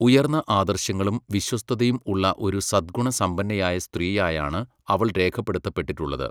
ഉയർന്ന ആദർശങ്ങളും വിശ്വസ്തതയും ഉള്ള ഒരു സദ്ഗുണസമ്പന്നയായ സ്ത്രീയായാണ് അവൾ രേഖപ്പെടുത്തപ്പെട്ടിട്ടുള്ളത്.